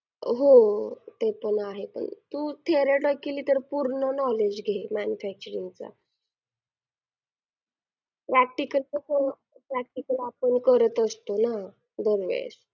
तेव्हा पासून आमच struggle चालूय दोन वर्षे झाल.आत्ताशी कुठ भरती आलीये आत्ता ground वगैरे दिलंय बगू काय होतंय ते